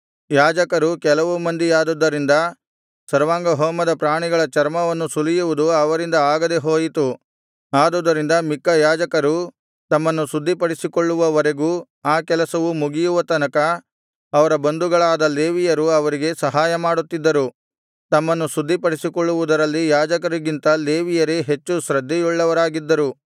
ಯಾಜಕರು ಕೆಲವು ಮಂದಿಯಾದುದ್ದರಿಂದ ಸರ್ವಾಂಗಹೋಮದ ಪ್ರಾಣಿಗಳ ಚರ್ಮವನ್ನು ಸುಲಿಯುವುದು ಅವರಿಂದ ಆಗದೆ ಹೋಯಿತು ಆದುದರಿಂದ ಮಿಕ್ಕ ಯಾಜಕರೂ ತಮ್ಮನ್ನು ಶುದ್ಧಿಪಡಿಸಿಕೊಳ್ಳುವವರೆಗೂ ಆ ಕೆಲಸವು ಮುಗಿಯುವ ತನಕ ಅವರ ಬಂಧುಗಳಾದ ಲೇವಿಯರು ಅವರಿಗೆ ಸಹಾಯಮಾಡುತ್ತಿದ್ದರು ತಮ್ಮನ್ನು ಶುದ್ಧಿಪಡಿಸಿಕೊಳ್ಳುವುದರಲ್ಲಿ ಯಾಜಕರಿಗಿಂತ ಲೇವಿಯರೇ ಹೆಚ್ಚು ಶ್ರದ್ಧೆಯುಳ್ಳವರಾಗಿದ್ದರು